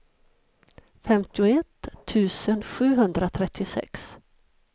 femtioett tusen sjuhundratrettiosex